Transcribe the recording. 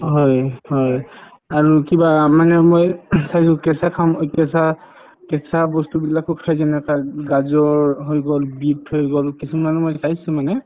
হয় হয় আৰু কিবা আ মানে মই চাইছো কেঁচা খাম কেঁচা কেঁচা বস্তুবিলাকো খাই যেনে এটা গাজৰ হৈ গল beet হৈ গল কিছুমানক মই চাইছো মানে